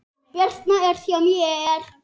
Birna er hjá mér.